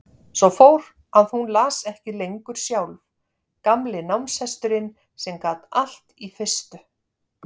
Svo fór að hún las ekki lengur sjálf, gamli námshesturinn sem gat allt í fyrstu.